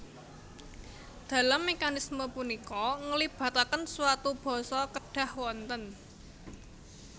Dalam mekanisme punika ngelibataken suatu basa kedhah wonten